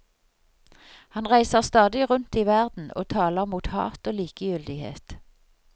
Han reiser stadig rundt i verden og taler mot hat og likegyldighet.